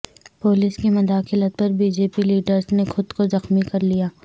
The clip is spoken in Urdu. پولیس کی مداخلت پر بی جے پی لیڈر نے خود کو زخمی کرلیا